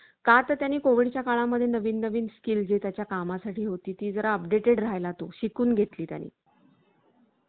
का तर त्यांनी कोविड च्या काळा मध्ये नवीन नवीन skill जे त्याच्या कामासाठी होती ती जरा updated राहिला तो शिकून घेतली त्यांनी